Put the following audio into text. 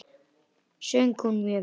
Söng hún mjög vel.